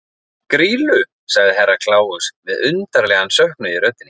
Grýlu, sagði Herra Kláus með undarlegan söknuð í röddinni.